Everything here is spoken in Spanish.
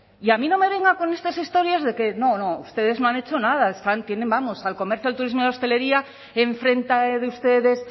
y a mí no me venga con estas historias de que no no ustedes no han hecho nada están tienen vamos al comercio al turismo y a la hostelería enfrente de ustedes